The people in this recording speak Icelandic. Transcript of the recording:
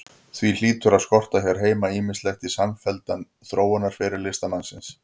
Því hlýtur að skorta hér heima ýmislegt í samfelldan þróunarferil listamannsins.